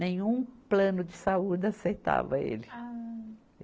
Nenhum plano de saúde aceitava ele. Ah